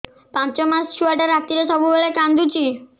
ପାଞ୍ଚ ମାସ ଛୁଆଟା ରାତିରେ ସବୁବେଳେ କାନ୍ଦୁଚି